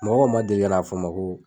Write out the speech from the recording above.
Mɔgɔw man deli ka n'a fɔ n ma ko